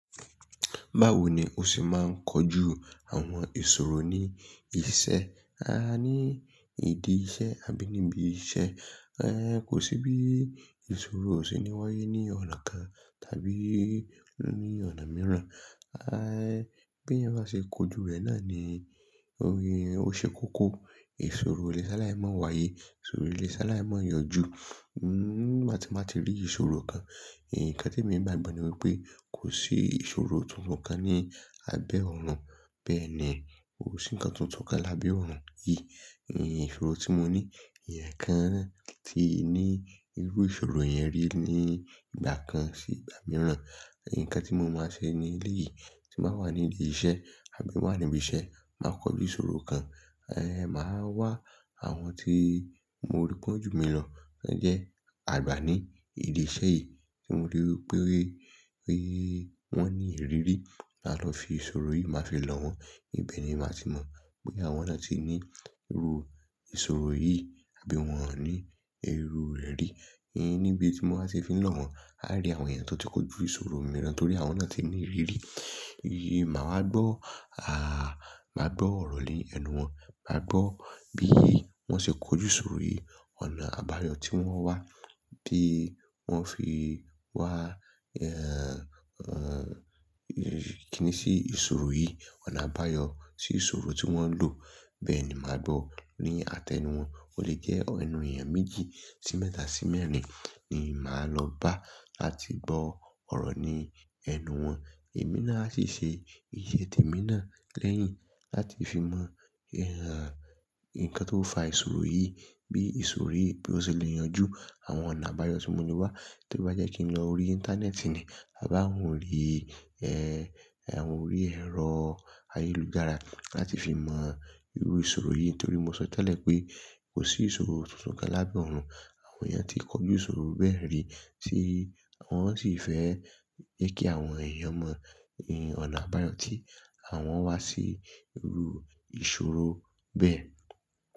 Báwo ni o ṣe máa ń kojú àwọn ìṣòro ní iṣẹ́, a ní ìdí iṣẹ́ àbí níbi iṣẹ́? Kò sí bí ìṣòro ó ṣe ní wáyé ní ọ̀nà kan tàbí ní ọ̀nà mìíràn. Bí ẹyan bá ṣe kojú rẹ̀ náà ni ó ṣe kókó. Ìṣòro ó lé sálayii mọ̀ wáyé, ìṣòro ó lé sálayii mọ̀ yanjú. Nígbà ti máa ti rí ìṣòro kan. Ǹkan tí mo gbagbọ ni wípé kò sí ìṣòro tuntun kan ní abẹ́ ọ̀run. Bẹ́ẹ̀ ni, kò sí ǹkan tuntun kan lábẹ́ oọ̀run yìí. Ìṣòro tí mo ní, ẹ̀yàn kan ti ní irú ìṣòro yẹn rí ní ìgbà kan sí ìgbà mìíràn. Ǹkan tí mo máa ṣe ní eléyìí tí mà wà ní ìdí iṣẹ́ àbí má wà níbi iṣẹ́, tàá kọjú ìṣòro kan. Màá wá àwọn tí mo rí pọ̀ jumi lọ tí wọ́n jẹ́ àgbà ní idi iṣẹ́ yìí tí mo rí wípé wọ́n ní ìrírí. Mà lọ fi ìṣòro yìí máa fi lọ wọ́n. Ibẹ̀ ni màá ti mọ bóyá àwọn náà ti ní irú ìṣòro yìí àbí wọn ò ní irú rẹ̀ rí. Níbi tí mo bá ti fi lọ wọ́n, á rí àwọn ẹ̀yàn tó ti kojú ìṣòro mìíràn torí àwọn náà ti ní ìrírí. Màwá gbọ́, màá gbọ́ ọ̀rọ̀ ní ẹnu wọn. Mà gbọ́ bí wọ́n ṣe kojú ìṣòro yìí, ọ̀nà àbáyọ tí wọ́n wá, bí wọ́n fi wá kíni sí ìṣòro yìí, ọ̀nà àbáyọ sí ìṣòro tí wọ́n lò. Bẹ́ẹ̀ ni mà gbọ́ ní àtẹnu wọn. O lè jẹ́ ẹnu èèyàn méjì sí mẹ́ta sí mẹ́rin ni màá lọ bá láti gbọ́ ọ̀rọ̀ ní ẹnu wọn. Èmi náà asì ṣe ìṣe tèmi náà lẹ́yìn láti fi mọ ǹkan tó ń fa ìṣòro yìí, bí ìṣòro yìí bí ó ṣe lè yanjú àwọn ọ̀nà àbáyọ tí mo lẹ wá. To bá jẹ́ kí n lọ orí Íńtánẹ́ẹ̀tì ni, a bi awọn orí ẹrọ ayélujára láti fi mọ irú ìṣòro yìí torí mo sọ tẹ́lẹ̀ wípé kò sí ìṣòro tuntun kan lábẹ́ ọ̀run. Àwọn èèyàn tí kojú ìṣòro bẹ́ẹ̀ rí tí wọ́n sì fẹ́ jẹ kí àwọn èèyàn mọ ọ̀nà àbáyọ tí àwọn wá sí irú ìṣòro bẹ́ẹ̀